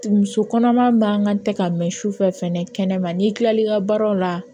Muso kɔnɔma man kan tɛ ka mɛn sufɛ fɛnɛ kɛnɛma n'i kilal'i ka baaraw la